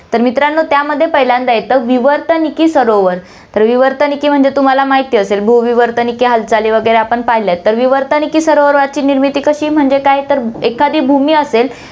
तर मित्रांनो, त्यामध्ये पहिल्यांदा येतं, विवर्तनिकी सरोवर, तर विवर्तनिकी म्हणजे तुम्हाला माहिती असेल, भूविवर्तनिकी हालचाली वैगरे आपण पाहिल्यात, तर विवर्तनिकी सरोवरची निर्मिती कशी म्हणजे काय, तर एखादी भूमी असेल